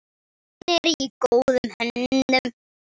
Hún er í góðum höndum.